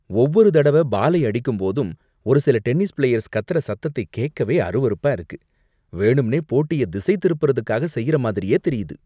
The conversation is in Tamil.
ஒவ்வொரு தடவ பாலை அடிக்கும்போதும் ஒரு சில டென்னிஸ் பிளேயர்ஸ் கத்தற சத்தத்தை கேக்கவே அருவருப்பா இருக்கு, வேணும்னே போட்டிய திசை திருப்புறதுக்காக செய்யுற மாதிரியே தெரியுது.